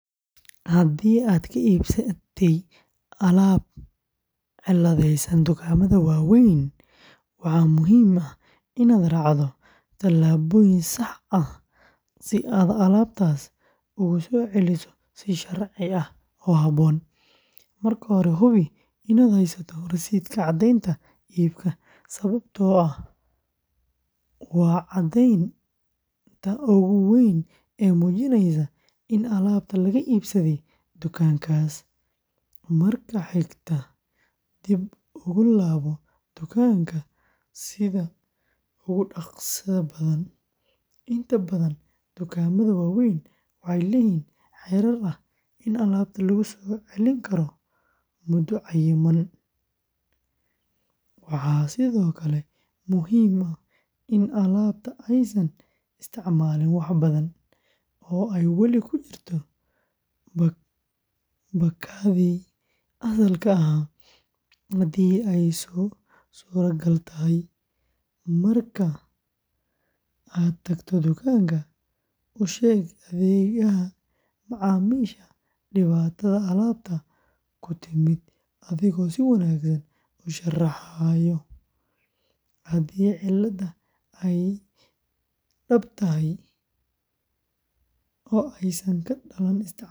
Haddii aad ka iibsatay alaab cilladaysan dukaamada waaweyn, waxaa muhiim ah inaad raacdo talaabooyin sax ah si aad alaabtaas ugu soo celiso si sharci ah oo habboon. Marka hore, hubi inaad haysato rasiidka caddeynta iibka, sababtoo ah waa caddeynta ugu weyn ee muujinaysa in alaabta laga iibsaday dukaankaas. Marka xigta, dib ugu laabo dukaanka sida ugu dhaqsaha badan inta badan dukaamada waaweyn waxay leeyihiin xeer ah in alaabta lagu soo celin karo muddo cayiman. Waxaa sidoo kale muhiim ah in alaabta aysan isticmaalin wax badan, oo ay weli ku jirto baakaddii asalka ahaa haddii ay suuragal tahay. Marka aad tagto dukaanka, u sheeg adeegaha macaamiisha dhibaatada alaabta ku timid, adigoo si wanaagsan u sharaxaya. Haddii cilladda ay dhab tahay oo aysan ka dhalan isticmaal khaldan.